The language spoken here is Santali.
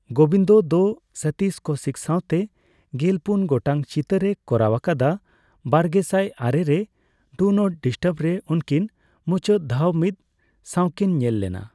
ᱜᱳᱵᱤᱱᱫᱚ ᱫᱚ ᱥᱚᱛᱤᱥ ᱠᱳᱣᱥᱤᱠ ᱥᱟᱣᱛᱮ ᱜᱮᱞᱯᱩᱱ ᱜᱚᱴᱟᱝ ᱪᱤᱛᱟᱹᱨᱮ ᱠᱚᱨᱟᱣ ᱟᱠᱟᱫᱟ; ᱵᱟᱨᱜᱮᱥᱟᱭ ᱟᱨᱮ ᱨᱮ 'ᱰᱩ ᱱᱚᱴ ᱰᱤᱥᱴᱟᱨᱵ' ᱨᱮ ᱩᱱᱠᱤᱱ ᱢᱩᱪᱟᱹᱫ ᱫᱷᱟᱣ ᱢᱤᱫ ᱥᱟᱣᱠᱤᱱ ᱧᱮᱞ ᱞᱮᱱᱟ ᱾